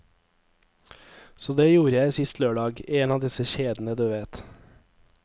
Så det gjorde jeg sist lørdag, i en av disse kjedene du vet.